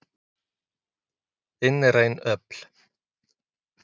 Innræn öfl.